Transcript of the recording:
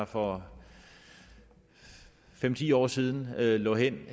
for fem ti år siden lå hen